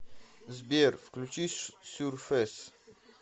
сбер включи сюрфэс